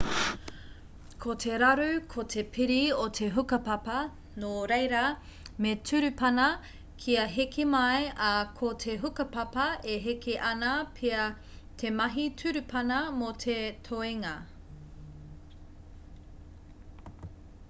ko te raru ko te piri o te hukapapa nō reira me turupana kia heke mai ā ko te hukapapa e heke ana pea te mahi turupana mō te toenga